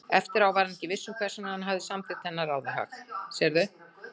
eftir á var hann ekki viss um hvers vegna hann hafði samþykkt þennan ráðahag.